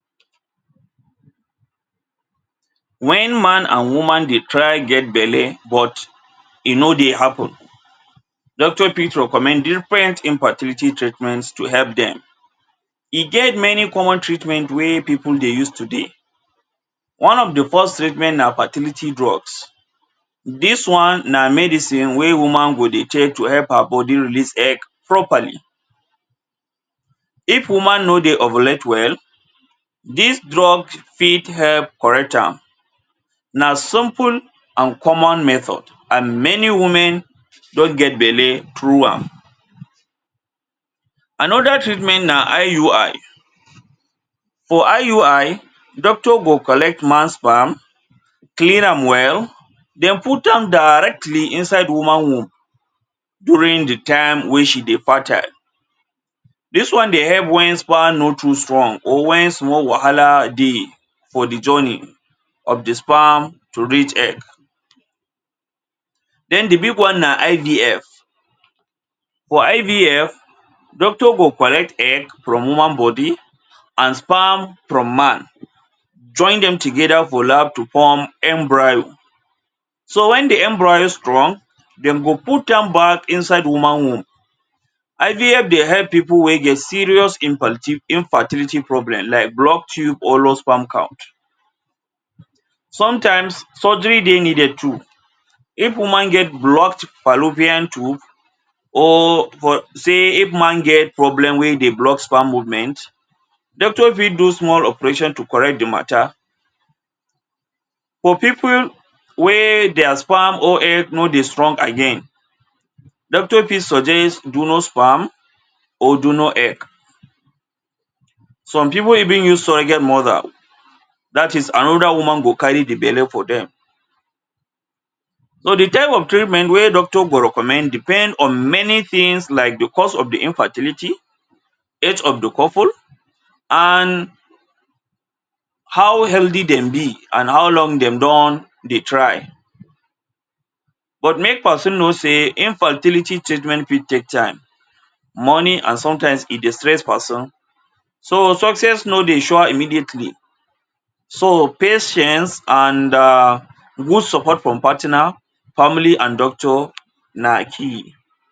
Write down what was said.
Wen man and woman dey try get belle but e no dey happen doctor fit recommend different infertility treatments to help dem. E get many common treatment wey pipu dey use today. One of de first treatment na fertility drugs. Dis one na medicine wey woman go dey take to help her body release egg properly. If woman no dey ovulate well, dis drug fit help correct am. Na simple and common method and many women don get belle through am. Another treatment na IUI. For IUI, doctor go collect man sperm, clean am well, den put am directly inside woman womb during de time wey she dey fertile. Dis one dey help wen sperm no too strong or wen small wahala dey for de journey of de sperm to reach egg. Den de big one na IVF. For IVF, doctor go collect egg from woman body and sperm from man, join dem together for lab to form embryo. So wen de embryo strong, dem go put am back inside woman womb. IVF dey help pipu wey get serious infertility problem like blocked tube or low sperm count. Sometimes, surgery dey needed too. If woman get blocked fallopian tube or for say if man get problem wey dey block sperm movement, doctor fit do small operation to correct de matter. For pipu wey their sperm or egg no dey strong again, doctor fit suggest donor sperm or donor egg. Some pipu even use surrogate mother; that is another woman go carry de belle for dem. So de type of treatment wey doctor go recommend depend on many things like de cost of de infertility, health of de couple and how healthy dem be and how long dem don dey try. But make person know sey infertility treatment fit take time, money and sometimes e dey stress person. So success no dey show immediately. So patience and um good support from partner, family and doctor na key.